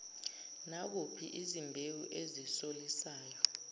nakuphi izimbewu ezisolisayo